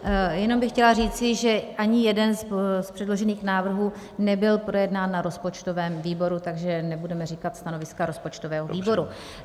Jenom bych chtěla říci, že ani jeden z předložených návrhů nebyl projednán na rozpočtovém výboru, takže nebudeme říkat stanoviska rozpočtového výboru.